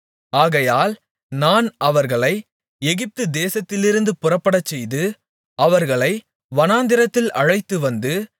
ஆகையால் நான் அவர்களை எகிப்துதேசத்திலிருந்து புறப்படச்செய்து அவர்களை வனாந்திரத்தில் அழைத்துவந்து